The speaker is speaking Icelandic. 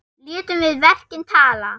Létum við verkin tala.